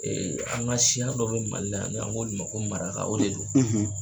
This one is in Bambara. An ka siya dɔ bɛ Mali la , an b'o wele ko maraka